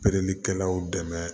Perelikɛlaw dɛmɛ